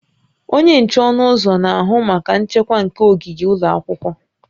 Onye nche ọnụ ụzọ na-ahụ maka nchekwa nke ogige ụlọ akwụkwọ